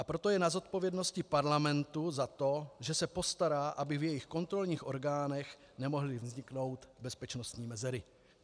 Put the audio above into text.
A proto je na zodpovědnosti parlamentu za to, že se postará, aby v jejich kontrolních orgánech nemohly vzniknout bezpečnostní mezery.